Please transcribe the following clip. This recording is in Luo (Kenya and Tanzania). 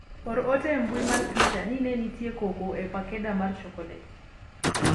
or ot e mbui mar twita ni ne nitie koko e pakeda mar chokolet